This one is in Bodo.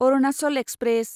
अरुनाचल एक्सप्रेस